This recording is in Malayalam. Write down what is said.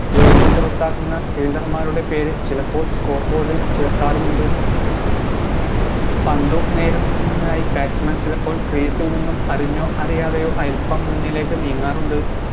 എറിഞ്ഞു പുറത്താക്കുന്ന fielder മ്മാരുടെ പേര് ചിലപ്പോൾ score board ഇൽ ചേർക്കാറുമുണ്ട് പന്ത് നേടുന്നതിനായി batsman ചിലപ്പോൾ crease ഇൽ നിന്നും അറിഞ്ഞോ അറിയാതെയോ അൽപ്പം മുന്നിലേക്ക് നീങ്ങാറുണ്ട്